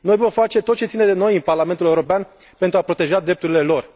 Noi vom face tot ce ține de noi în Parlamentul European pentru a proteja drepturile lor.